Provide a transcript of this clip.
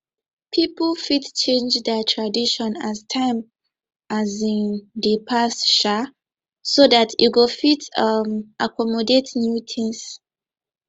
pipo fit change their tradition as time um dey pass um so dat e go fit um accomodat new things